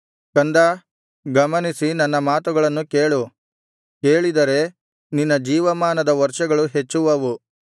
ಕಂದಾ ಗಮನಿಸಿ ನನ್ನ ಮಾತುಗಳನ್ನು ಕೇಳು ಕೇಳಿದರೆ ನಿನ್ನ ಜೀವಮಾನದ ವರ್ಷಗಳು ಹೆಚ್ಚುವವು